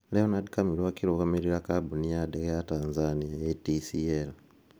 Leonard Kamiru akĩrũgamĩrĩra kambuni ya ndege Tanzania (ATCL).